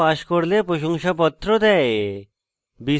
online পরীক্ষা pass করলে প্রশংসাপত্র দেয়